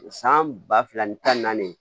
San ba fila ni tan naani